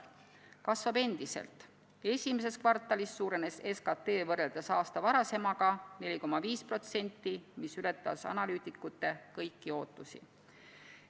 See kasvab endiselt: esimeses kvartalis suurenes SKT võrreldes aasta varasemaga 4,5%, mis ületas analüütikute kõiki ootusi.